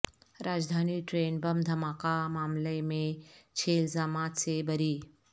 راجدھانی train bomb دھماکہ معاملہ میں چھ الزامات سے بری